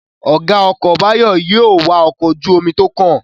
Ọ̀gá ọkọ̀ Báyọ̀ yóò wa ọkọ̀ ojú-omi tó kàn